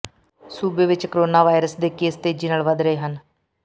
ਸੂਬੇ ਵਿਚ corona virus ਦੇ ਕੇਸ ਤੇਜ਼ੀ ਨਾਲ ਵੱਧ ਰਹੇ ਹਨ